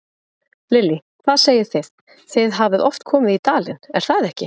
Lillý: Hvað segið þið, þið hafið oft komið í dalinn, er það ekki?